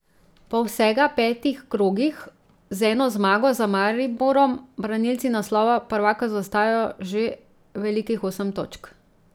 Po vsega petih krogih z eno zmago za Mariborom branilci naslova prvaka zaostajajo že velikih osem točk.